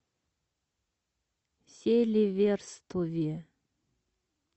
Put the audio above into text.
селиверстове